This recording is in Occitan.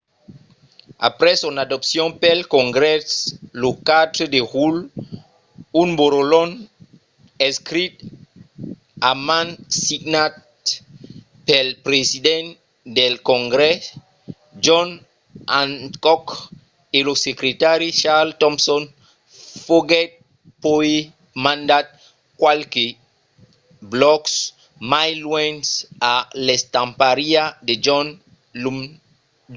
aprèp son adopcion pel congrès lo 4 de julh un borrolhon escrich a man signat pel president del congrès john hancock e lo secretari charles thomson foguèt puèi mandat qualques blòcs mai luènh a l'estampariá de john dunlap